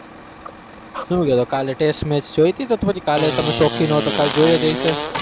શું તો કાલે test match જોઈ હતી? તો કાલે તમે શોખીન હો તો કાલે જોઈ જ હશે.